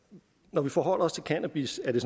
når vi forholder os til cannabis at det